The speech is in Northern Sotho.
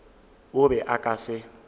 o be a ka se